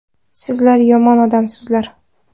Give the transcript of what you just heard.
Sizlar – yomon odamsizlar!